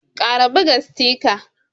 kara ɓuga sitika.